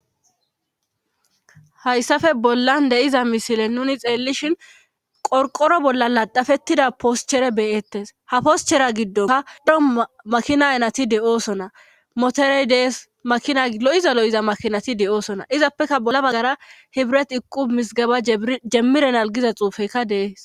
hayssappe bollan de'iza misile nuni xeellishin qorqoro bolla laxafettida poschere beyettes ha poschera giddonka dumma makina ayinatetii de'oosona moterey dees makina lo'iza lo'iza makinati de'oosona izappekka bolla baggara hibiretti iqqubi mizigeba jemmirenal giza xuufezii de'es